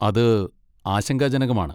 അത് ആശങ്കാജനകമാണ്.